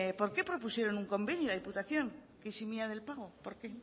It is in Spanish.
por qué propusieron un convenio a diputación que eximia del pago por qué